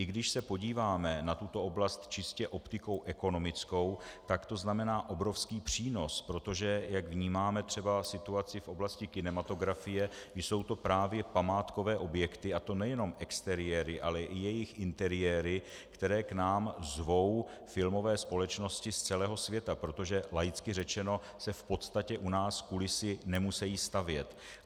I když se podíváme na tuto oblast čistě optikou ekonomickou, tak to znamená obrovský přínos, protože jak vnímáme třeba situaci v oblasti kinematografie, jsou to právě památkové objekty, a to nejenom exteriéry, ale i jejich interiéry, které k nám zvou filmové společnosti z celého světa, protože laicky řečeno se v podstatě u nás kulisy nemusejí stavět.